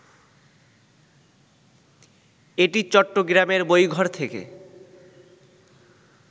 এটি চট্টগ্রামের বইঘর থেকে